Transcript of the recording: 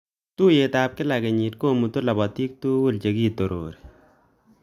Tuiyetab kila kenyit komutu lapatik tugul che kitorori